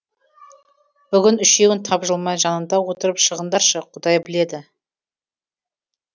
бүгін үшеуің тапжылмай жанында отырып шығыңдаршы құдай біледі